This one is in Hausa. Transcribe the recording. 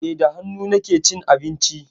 Eh, da hannu nake cin abinci.